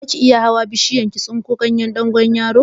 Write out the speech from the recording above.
Zaki iya hawa bishiyar ki tsinko ganyen dogonyaro?